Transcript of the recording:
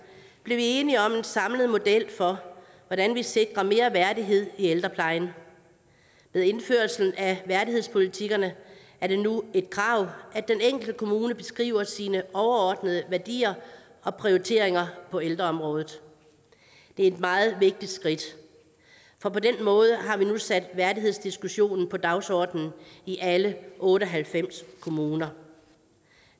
blev vi enige om en samlet model for hvordan vi sikrer mere værdighed i ældreplejen med indførelsen af værdighedspolitikkerne er det nu et krav at den enkelte kommune beskriver sine overordnede værdier og prioriteringer på ældreområdet det er et meget vigtigt skridt for på den måde har vi nu sat værdighedsdiskussionen på dagsordenen i alle otte og halvfems kommuner